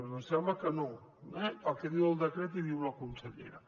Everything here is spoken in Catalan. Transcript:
doncs sembla que no eh pel que diu el decret i diu la consellera